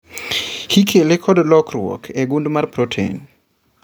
Ikele kod lokruok e gund mar proten